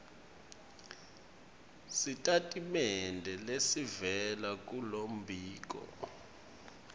sitatimende lesivela kulombiko